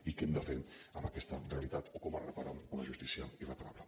i què hem de fer amb aquesta realitat o com es repara una justícia irreparable